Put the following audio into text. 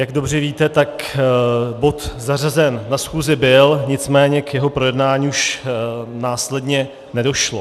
Jak dobře víte, tak bod zařazen na schůzi byl, nicméně k jeho projednání už následně nedošlo.